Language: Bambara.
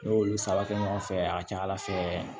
Ne y'olu sara kɛ ɲɔgɔn fɛ a ka ca ala fɛ